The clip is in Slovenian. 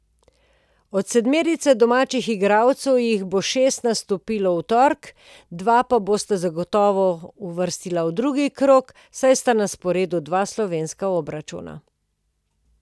Od sedmerice domačih igralcev jih bo šest nastopilo v torek, dva pa se bosta zagotovo uvrstila v drugi krog, saj sta na sporedu dva slovenska obračuna.